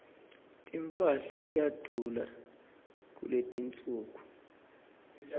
timphahla tiyadula kuletinsuku